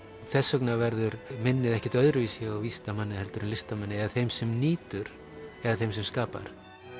þess vegna verður minnið ekkert öðruvísi hjá vísindamanni heldur en listamanni eða þeim sem nýtur eða þeim sem skapar